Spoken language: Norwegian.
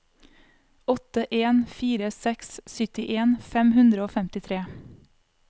åtte en fire seks syttien fem hundre og femtitre